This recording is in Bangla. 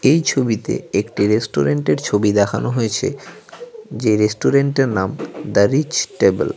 এই ছবিতে একটি রেস্টুরেন্টের ছবি দেখানো হয়েছে যে রেস্টুরেন্টের নাম দ্য রিচ টেবিল ।